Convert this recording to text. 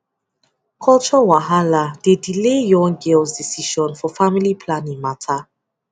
culture wahala dey delay young girls decision for family planning matter